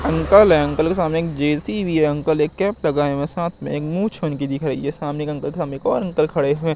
uncle है uncle के सामने एक जे_सी_बी है अंकल एक कैप लगाए हुए है साथ में मूछ उनकी दिख रहीं हैं सामने एक अंकल थ एक और अंकल खड़े हुए--